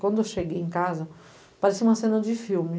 Quando eu cheguei em casa, parecia uma cena de filme.